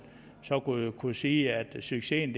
så kunne kunne sige at succesen